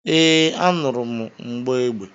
Ee, anụrụ m mgbọ egbe